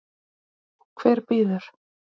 Og hver býður?